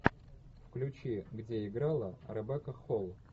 включи где играла ребекка холл